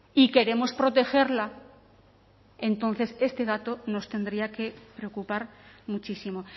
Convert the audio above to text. y queremos protegerla entonces este dato nos tendría que preocupar muchísimo